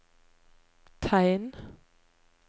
tegn